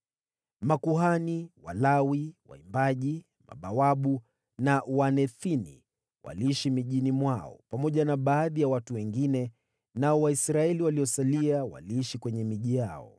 Makuhani, Walawi, waimbaji, mabawabu, na watumishi wa Hekalu waliishi katika miji yao wenyewe, pamoja na baadhi ya watu wengine, nao Waisraeli waliosalia waliishi katika miji yao.